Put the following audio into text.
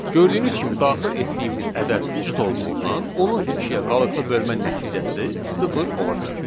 Gördüyünüz kimi daxil etdiyimiz ədəd cüt olduğundan onun ikiyə qalıqlı bölmə nəticəsi sıfır olacaq.